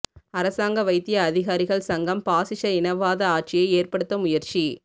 அரசாங்க வைத்திய அதிகாரிகள் சங்கம் பாஸிஸ இனவாத ஆட்சியை ஏற்படுத்த முயற்சி